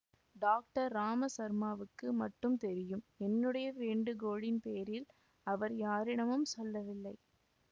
doctor ராமசர்மாவுக்கு மட்டும் தெரியும் என்னுடைய வேண்டுகோளின் பேரில் அவர் யாரிடமும் சொல்லவில்லை